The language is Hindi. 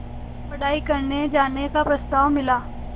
पढ़ाई करने जाने का प्रस्ताव मिला